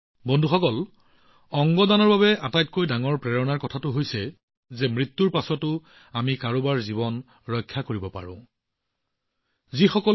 বন্ধুসকল অংগ দানৰ আঁৰৰ আটাইতকৈ ডাঙৰ অনুভৱ হৈছে যে জীয়াই থাকোঁতেও কাৰোবাৰ জীৱন ৰক্ষা কৰিব লাগে